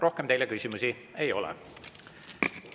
Rohkem teile küsimusi ei ole.